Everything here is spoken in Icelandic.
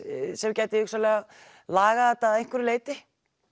sem gæti lagað þetta að einhverju leyti